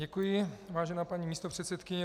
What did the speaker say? Děkuji, vážená paní místopředsedkyně.